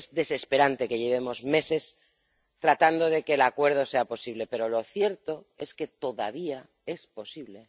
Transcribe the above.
Es desesperante que llevemos meses tratando de que el acuerdo sea posible, pero lo cierto es que todavía es posible.